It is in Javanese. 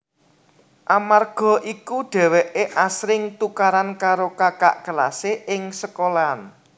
Amarga iku dheweke asring tukaran karo kakak kelase ing sekolahan